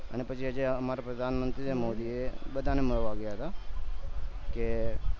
અને પછી જે છે અમારાં પ્રધાન મંત્રી છે મોદી એ બધાને મળવા ગયા હતા કે